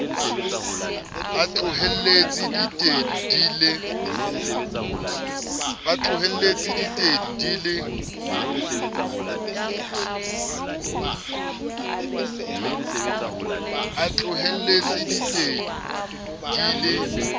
a tlohelletse ditedu di le